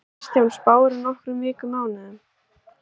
Kristján: Spáirðu nokkrum vikum mánuðum?